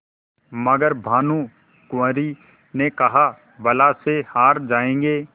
मगर भानकुँवरि ने कहाबला से हार जाऍंगे